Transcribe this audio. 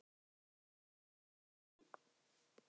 Hann fór í